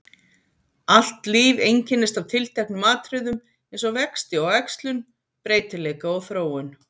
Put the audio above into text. Allt líf einkennist af tilteknum atriðum eins og vexti og æxlun, breytileika og þróun.